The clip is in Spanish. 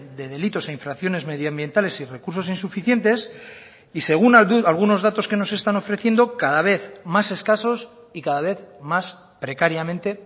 de delitos e infracciones medioambientales y recursos insuficientes y según algunos datos que nos están ofreciendo cada vez más escasos y cada vez más precariamente